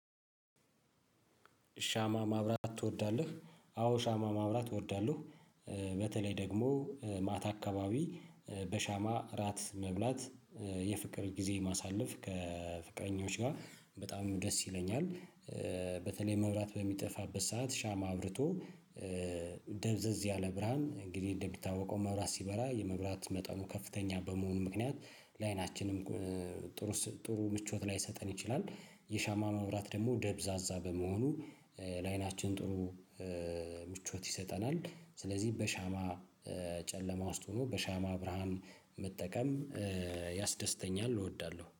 ሻማ ማብራት ትወዳለህ? አዎ ሻማ ማብራት እወዳለህ በተለይ ደግሞ ማታ አካባቢ በሻማ እራት መብላት የፍቅር ጊዜ ማሳለፍ ከፍቅረኞች ጋር በጣም ደስ ይለኛል። በተለይ መብራት በሚጠፋበት ሰዓት ሻማ አብርቶ። ደብዘዝ ያለ ብርሃን እንግዲህ እንደሚታወቀው መብራት ሲበራ የመብራት መጠኑ ከፍተኛ በመሆኑ ምክንያት ለአይናችንም ጥሩ ምቾት ላይሰጠን ይችላል። የሻማ መብራት ደግሞ ደብዛዛ በመሆኑ ለአይናችን ጥሩ ምቾት ይሰጠናል። ስለዚህ በሻማ ጨለማ ውስጥ ሆኖ በሻማ ብርሃን መጠቀም ያስደስተኛል እወዳለሁ